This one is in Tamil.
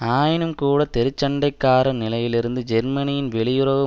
ஆயினும்கூட தெருச் சண்டைக்காரர் நிலையிலிருந்து ஜெர்மனியின் வெளியுறவு